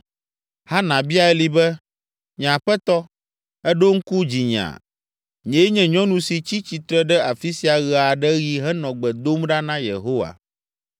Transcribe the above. Hana bia Eli be, “Nye aƒetɔ, èɖo ŋku dzinyea? Nyee nye nyɔnu si tsi tsitre ɖe afi sia ɣe aɖe ɣi henɔ gbe dom ɖa na Yehowa.